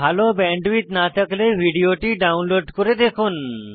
ভাল ব্যান্ডউইডথ না থাকলে ভিডিওটি ডাউনলোড করে দেখুন